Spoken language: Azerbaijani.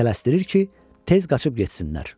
Tələsdirir ki, tez qaçıb getsinlər.